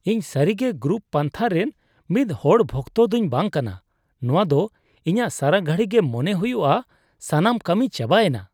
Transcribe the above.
ᱤᱧ ᱥᱟᱹᱨᱤᱜᱮ ᱜᱨᱩᱯ ᱯᱟᱱᱛᱷᱟ ᱨᱮᱱ ᱢᱤᱫ ᱦᱚᱲ ᱵᱷᱚᱠᱛᱚ ᱫᱩᱧ ᱵᱟᱝ ᱠᱟᱱᱟ ; ᱱᱚᱶᱟ ᱫᱚ ᱤᱧᱟᱹᱜ ᱥᱟᱨᱟ ᱜᱷᱟᱲᱤ ᱜᱮ ᱢᱚᱱᱮ ᱦᱩᱭᱩᱜᱼᱟ ᱥᱟᱱᱢ ᱠᱟᱹᱢᱤ ᱪᱟᱵᱟᱭᱮᱱᱟ